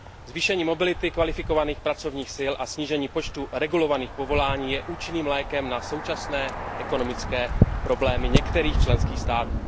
Zvýšení mobility kvalifikovaných pracovních sil a snížení počtu regulovaných povolání je účinným lékem na současné ekonomické problémy některých členských států.